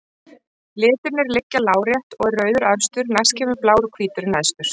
Litirnir liggja lárétt og er rauður efstur, næst kemur blár og hvítur er neðstur.